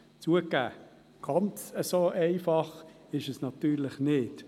Zugegeben, ganz so einfach ist es natürlich nicht.